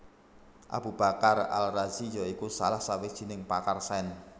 Abu Bakar Al Razi ya iku salah sawijining pakar sains